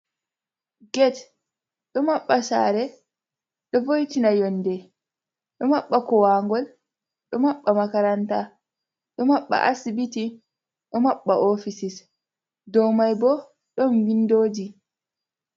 Get do mabba share do voitina yonde do mabba kowangol do mabba makaranta do mabba asibiti do mabba ofisis do mai bo don windoji.